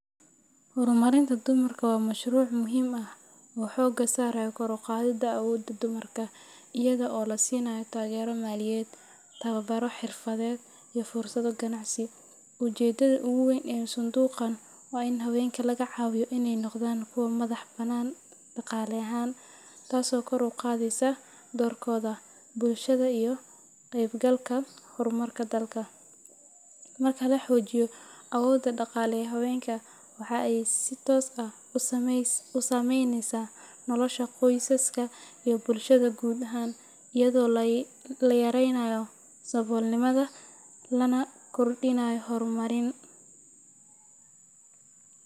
Horumarinta dumarka waa mashruuc muhiim ah oo xooga saaraya kor u qaadidda awoodda dumarka iyada oo la siinayo taageero maaliyadeed, tababaro xirfadeed, iyo fursado ganacsi. Ujeedada ugu weyn ee sanduuqan waa in haweenka laga caawiyo inay noqdaan kuwo madax-bannaan dhaqaale ahaan, taasoo kor u qaadaysa doorkooda bulshada iyo ka qaybgalka horumarka dalka. Marka la xoojiyo awoodda dhaqaale ee haweenka, waxa ay si toos ah u saameynaysaa nolosha qoysaska iyo bulshada guud ahaan, iyadoo la yareynayo saboolnimada lana kordhinayo horumarin.